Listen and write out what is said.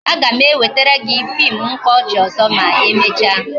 A ga m ewetara gị fim mkpaọchị ọzọ ma emecha